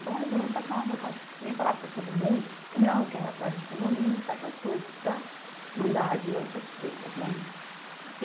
Então, resolvemos passar uma borracha por cima e falar para todo mundo que não, que era atrás de condomínio e certas coisas para mandar adiante as coisas, né?